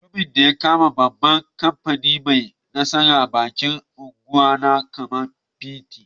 Mutumin de ya kama mafi babban kifin ne mai nasaran bikin Argungu na kaman kifi.